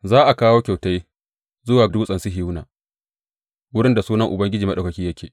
Za a kawo kyautai zuwa Dutsen Sihiyona, wurin da Sunan Ubangiji Maɗaukaki yake.